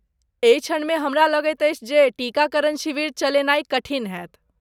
एहि क्षणमे, हमरा लगैत अछि, जे टीकाकरण शिविर चलेनाइ कठिन होयत।